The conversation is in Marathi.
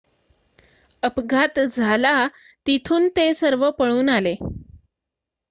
अपघात झाला तिथून ते सर्व पळून आले